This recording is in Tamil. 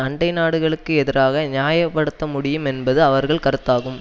அண்டை நாடுகளுக்கு எதிராக நியாய படுத்த முடியும் என்பது அவர்கள் கருத்தாகும்